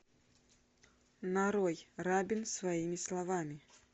нарой рабин своими словами